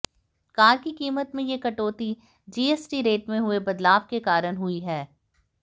car की कीमत में ये कटौती जीएसटी रेट में हुए बदलाव के कारण हुई है